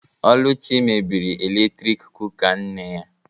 Oluchi mebiri eletrik kụka nne ya